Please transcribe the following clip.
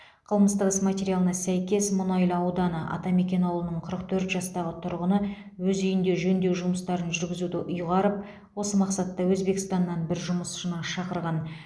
қылмыстық іс материалына сәйкес мұнайлы ауданы атамекен ауылының қырық төрт жастағы тұрғыны өз үйінде жөндеу жұмыстарын жүргізуді ұйғарып осы мақсатта өзбекстаннан бір жұмысшыны шақырған